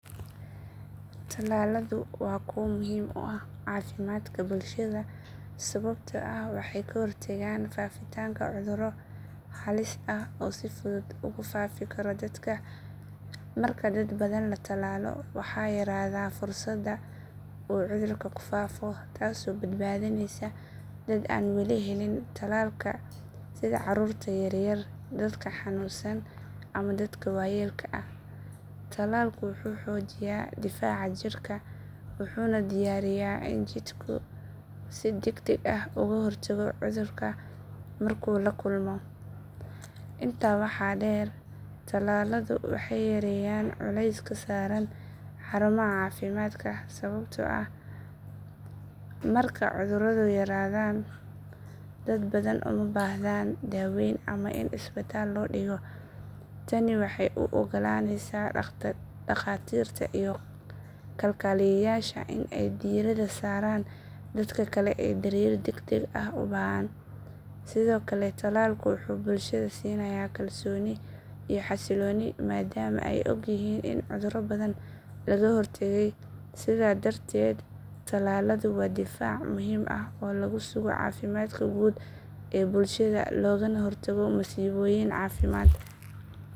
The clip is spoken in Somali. Tallaladu waa kuwo muhiim u ah caafimaadka bulshada sababtoo ah waxay ka hortagaan faafitaanka cudurro halis ah oo si fudud ugu faafi kara dadka. Marka dad badan la tallaalo, waxaa yaraada fursadda uu cudurku ku faafo taasoo badbaadinaysa dad aan weli helin tallaalka sida carruurta yar yar, dadka xanuunsan ama dadka waayeelka ah. Tallalku wuxuu xoojiyaa difaaca jirka wuxuuna diyaariyaa in jidhku si degdeg ah uga hortago cudurka markuu la kulmo. Intaa waxaa dheer, tallaaladu waxay yareeyaan culayska saaran xarumaha caafimaadka sababtoo ah marka cudurradu yaraadaan, dad badan uma baahdaan daaweyn ama in isbitaal loo dhigo. Tani waxay u oggolaanaysaa dhakhaatiirta iyo kalkaaliyeyaasha in ay diiradda saaraan dadka kale ee daryeel degdeg ah u baahan. Sidoo kale, tallaalku wuxuu bulshada siinayaa kalsooni iyo xasillooni maadaama ay ogyihiin in cudurro badan laga hortagay. Sidaa darteed, tallaladu waa difaac muhiim ah oo lagu sugo caafimaadka guud ee bulshada loogana hortago masiibooyin caafimaad.